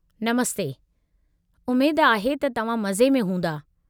नमस्ते, उमेद आहे त तव्हां मज़े में हूंदा।